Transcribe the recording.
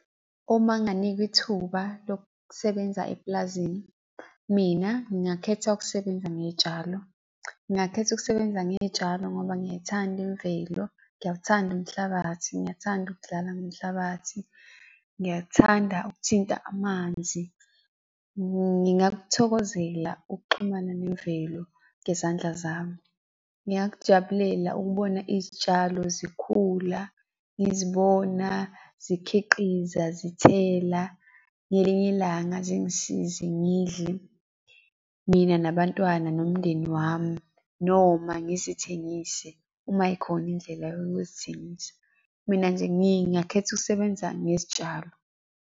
Uma nginganikwa ithuba lokusebenza epulazini. Mina ngingakhetha ukusebenza ngey'tshalo. Ngingakhetha ukusebenza ngey'tshalo ngoba ngiyayithanda imvelo, ngiyawuthanda umhlabathi, ngiyathanda ukudlala ngomhlabathi, ngiyathanda ukuthinta amanzi. Ngingakuthokozela ukuxhumana nemvelo ngezandla zami. Ngingakujabulela ukubona izitshalo zikhula, ngizibona zikhiqiza zithela, ngelinye ilanga zingisize ngidle, mina nabantwana nomndeni wami. Noma ngizithengise uma yikhona indlela yokuzithengisa. Mina nje ngingakhetha ukusebenza ngezitshalo.